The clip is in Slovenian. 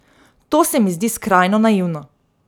To se mi zdi skrajno naivno.